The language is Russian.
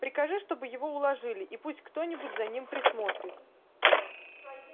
прикажи чтобы его уложили и пусть кто-нибудь за ним присмотрит